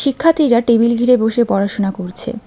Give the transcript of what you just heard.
শিক্ষার্থীরা টেবিল ঘিরে বসে পড়াশোনা করছে।